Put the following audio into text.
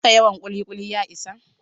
Haka yawan ƙuli-ƙuli ya isa?